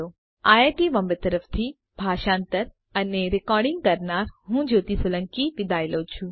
IIT Bombay તરફથી ભાષાંતર કરનાર હું જ્યોતિ સોલંકી વિદાય લઉં છું